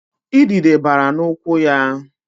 Idide bara n'ụkwụ ya